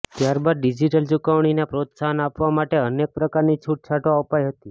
ત્યારબાદ ડિઝીટલ ચૂકવણીને પ્રોત્સાહન આપવા માટે અનેક પ્રકારની છૂટછાટો અપાઈ હતી